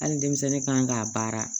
Hali denmisɛnnin kan k'a baara